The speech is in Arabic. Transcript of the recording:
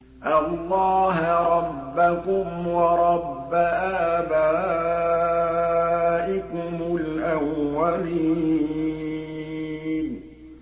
اللَّهَ رَبَّكُمْ وَرَبَّ آبَائِكُمُ الْأَوَّلِينَ